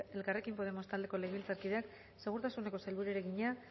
elkarrekin podemos taldeko legebiltzarkideak segurtasuneko sailburuari egina